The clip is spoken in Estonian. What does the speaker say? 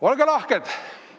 Olge lahked!